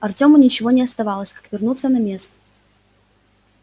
артёму ничего не оставалось как вернуться на место